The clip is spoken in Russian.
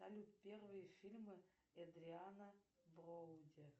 салют первые фильмы эдриана броуди